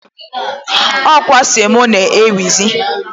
Ọ kwa semo na-ewuzi.